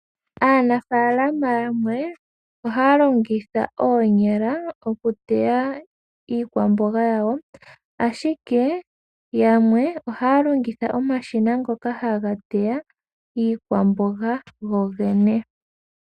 Aanafalama yamwe ohaya longitha oonyala oku teya iikwamboga yawo ashike yamwe ohaya longitha omashina ngoka haga teya iikwamboga gogene.